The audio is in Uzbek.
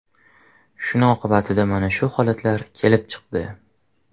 Shuni oqibatida mana shu holatlar kelib chiqdi.